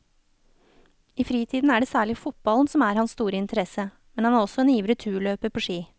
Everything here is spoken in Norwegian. I fritiden er det særlig fotballen som er hans store interesse, men han er også en ivrig turløper på ski.